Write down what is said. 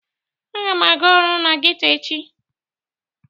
Aga m aga ọrụ na geto echi